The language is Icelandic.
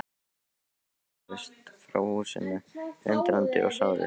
Þeir hrökkluðust frá húsinu, undrandi og sárir.